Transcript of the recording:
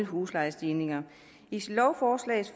huslejestigninger i lovforslaget